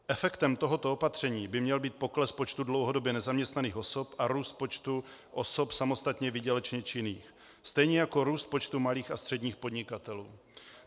Efektem tohoto opatření by měl být pokles počtu dlouhodobě nezaměstnaných osob a růst počtu osob samostatně výdělečně činných, stejně jako růst počtu malých a středních podnikatelů.